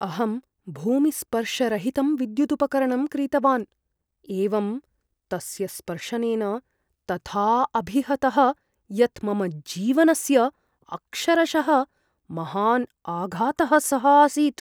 अहं भूमिस्पर्शरहितं विद्यु्दुपकरणं क्रीतवान्। एवं तस्य स्पर्शनेन तथा अभिहतः यत् मम जीवनस्य अक्षरशः महान् आघातः सः आसीत् ।